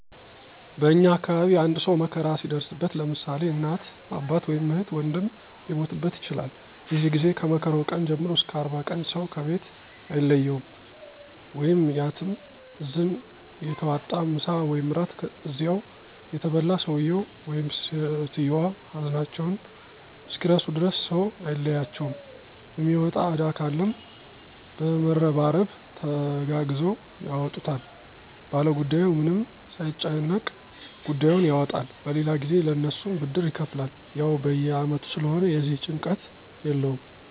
በእኛ አካባቢ አንድ ሰው መከራ ሲደርስበት ለምሳሌ እናት፣ አባት ወይም እህት ወንድም ሊሞትበት ይችላል የዚህ ጊዜ ከመከራው ቀን ጀምሮ እስከ 40 ቀን ሰው ከቤት አይለየውም/ያትም እዝን እየተዋጣ ምሳ ወይም እራት እዚያው እየተበላ ሰውየው/ሰትዮዋ ሀዘናቸውን እስኪረሱ ድረስ ሰው አይለያቸውም የሚወጣ እዳ ካለም በመረባረብ ተጋግዘው ያወጡታል ባለጉዳዩ ምንም ሳይጨነቅ ጉዳዩን ያወጣል በሌላ ጊዜ ለእነሱም ብድር ይከፍላል። ያው በየ አመቱ ስለሆነ የዚህ ጭንቀት የለውም።